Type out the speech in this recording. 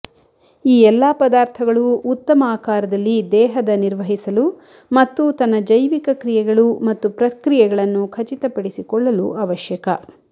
ಈ ಎಲ್ಲಾ ಪದಾರ್ಥಗಳು ಉತ್ತಮ ಆಕಾರದಲ್ಲಿ ದೇಹದ ನಿರ್ವಹಿಸಲು ಮತ್ತು ತನ್ನ ಜೈವಿಕ ಕ್ರಿಯೆಗಳು ಮತ್ತು ಪ್ರಕ್ರಿಯೆಗಳನ್ನು ಖಚಿತಪಡಿಸಿಕೊಳ್ಳಲು ಅವಶ್ಯಕ